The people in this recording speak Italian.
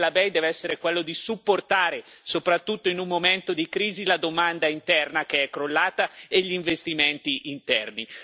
Il ruolo della BEI deve essere quello di supportare, soprattutto in un momento di crisi, la domanda interna che è crollata e gli investimenti interni.